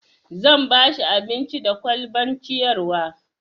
zan bashi abinci da kwalban ciyarwa